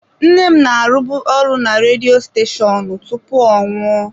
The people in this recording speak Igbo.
Nne m na-arụbu ọrụ na redio steshoonu tupu ọ nwụọ.